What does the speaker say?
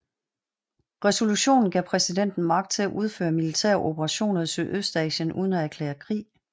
Resolutionen gav præsidenten magt til at udføre militære operationer i Sydøstasien uden at erklære krig